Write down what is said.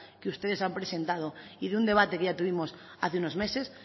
que ustedes han presentado y de un debate que ya tuvimos hace unos meses